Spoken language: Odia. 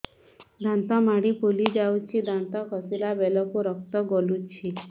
ଦାନ୍ତ ମାଢ଼ୀ ଫୁଲି ଯାଉଛି ଦାନ୍ତ ଘଷିଲା ବେଳକୁ ରକ୍ତ ଗଳୁଛି